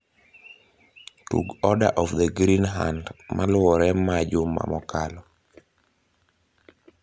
tug order of the green hand maluore ma juma mokalo